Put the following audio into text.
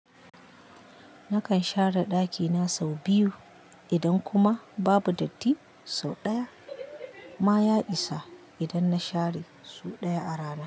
Nakan share ɗakina sau biyu idan kuma babu datti sau ɗaya. Ma ya isa idan na share sau ɗaya a rana.